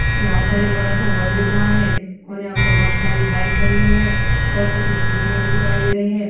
यहाँ पर एक बड़ा-सा हाल दिख रहा है और यहाँ पे बहुत सारी बाइक खड़ी हुई है और कुछ स्कूटीयां भी दिखाई दे रही हैं।